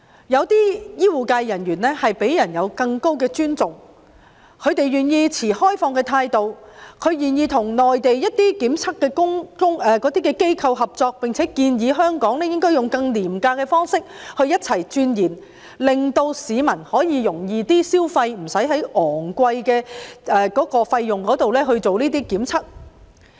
有些醫護人員獲得更高的尊重，他們願意持開放態度，與內地檢測機構合作，並且建議香港應採用更廉宜的方式，與內地一同鑽研，令市民可以更容易負擔，無須支付昂貴的費用進行檢測。